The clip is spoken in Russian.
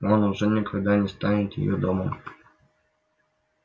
но он уже никогда не станет её домом